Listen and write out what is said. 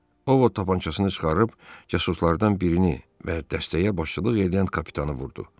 Ovod tapançasını çıxarıb casuslardan birini və dəstəyə başçılıq eləyən kapitanı vurdu.